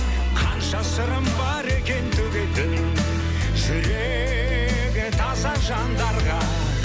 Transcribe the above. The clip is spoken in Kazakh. қанша сырым бар екен төгетін жүрегі таза жандарға